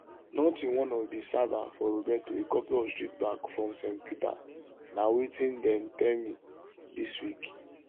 nothing one of di servers for roberto a couple of streets back from st peter na wetin dem tell me dis week